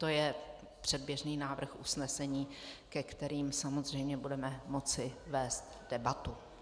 To je předběžný návrh usnesení, ke kterým samozřejmě budeme moci vést debatu.